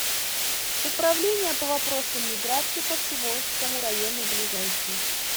управления по вопросам миграции по всеволожскому району ближайший